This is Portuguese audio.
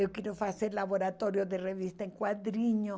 Eu quero fazer laboratório de revista em quadrinhos.